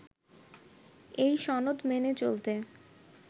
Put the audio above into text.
এই সনদ মেনে চলতে